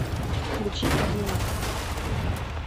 включи одинак